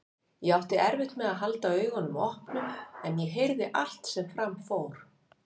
Ég átti erfitt með að halda augunum opnum en ég heyrði allt sem fram fór.